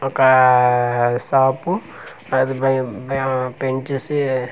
ఒక ఆఆ షాప్ అది బయ బ పెంచేసి .